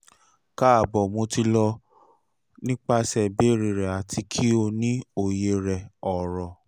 kaabo mo ti lọ nipasẹ ibeere rẹ ati ki o ni oye rẹ oro